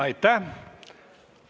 Aitäh!